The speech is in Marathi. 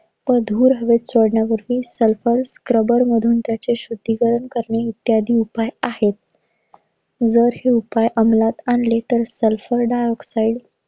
तो धूर हवेत चढल्यावरती sulpher scrubber मधून ते शुद्धीकरण करणे इत्यादी उपाय आहे. वर हे उपाय अमलात आणले तर sulpher dioxide